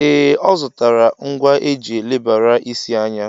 Ee, ọ zụtara ngwa eji elebara isi anya.